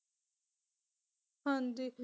ਹਾਂਜੀ